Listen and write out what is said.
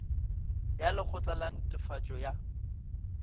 ya lekgotla la netefatšo ya